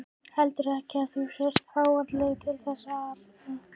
Heldurðu ekki að þú sért fáanlegur til þess arna?